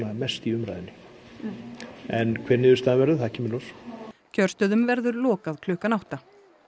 mest í umræðunni en hver niðurstaðan verður það kemur í ljós kjörstöðum verður lokað klukkan átta